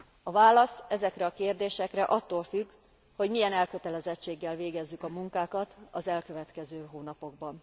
A válasz ezekre a kérdésekre attól függ, hogy milyen elkötelezettséggel végezzük a munkákat az elkövetkező hónapokban.